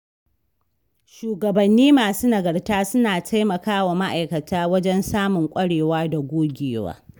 shugabanni masu nagarta suna taimakawa ma'aikata wajen samun ƙwarewa da gogewa.